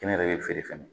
Kɛnyɛrɛye feere fɛn